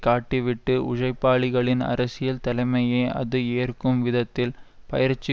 காட்டி விட்டு உஜைப்பாளிகளின் அரசியல் தலைமையை அது ஏற்கும் விதத்தில் பயிற்சி